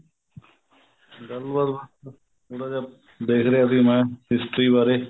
ਗੱਲਬਾਤ ਬੱਸ ਥੋੜਾ ਜਾ ਦੇਖ ਰਿਹਾ ਸੀ ਮੈਂ history ਬਾਰੇ